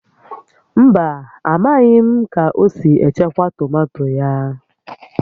Mba, amaghị m ka o si echekwa tomato ya